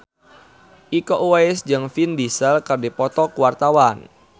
Iko Uwais jeung Vin Diesel keur dipoto ku wartawan